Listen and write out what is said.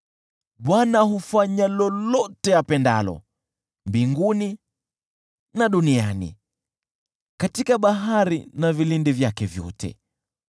Bwana hufanya lolote apendalo, mbinguni na duniani, katika bahari na vilindi vyake vyote.